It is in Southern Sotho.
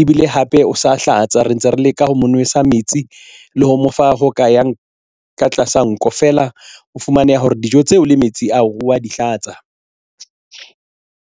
ebile hape o sa hlatsa re ntse re leka ho mo nwesa metsi le ho mo fa ho ka yang ka tlasa nko feela. o fumaneha hore dijo tseo le metsi o a di hlatsa.